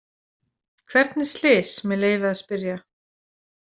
Hvernig slys, með leyfi að spyrja?